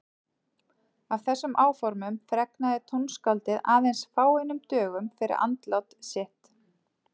Af þessum áformum fregnaði tónskáldið aðeins fáeinum dögum fyrir andlát sitt.